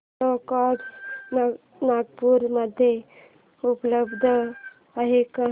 ओला cabs Nagpur मध्ये उपलब्ध आहे का